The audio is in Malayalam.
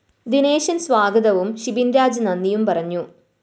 ദിനേശന്‍ സ്വാഗതവും ഷിബിന്‍രാജ് നന്ദിയും പറഞ്ഞു